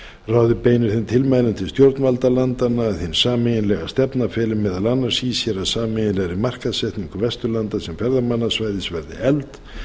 ráðið beinir þeim tilmælum til stjórnvalda landanna að hin sameiginlega stefna feli meðal annars í sér að sameiginlegri markaðssetningu vestur norðurlanda sem ferðamannasvæðis verði efld